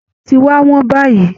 Ọtí ti wá wọn báyìí